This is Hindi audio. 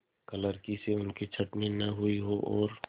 क्लर्की से उनकी छँटनी न हुई हो और